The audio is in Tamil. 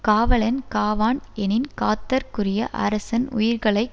காவலன் காவான் எனின் காத்தற்குரிய அரசன் உயிர்களை